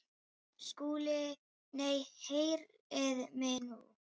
SKÚLI: Nei, heyrið mig nú!